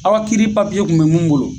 Aw ka kiiri papiye kun be mun bolo